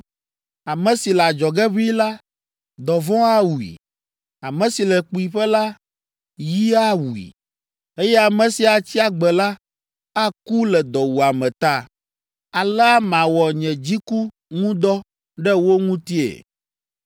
Ame si le adzɔge ʋĩi la, dɔvɔ̃ awui, ame si le kpuiƒe la, yi awui, eye ame si atsi agbe la, aku le dɔwuame ta. Alea mawɔ nye dziku ŋu dɔ ɖe wo ŋutie.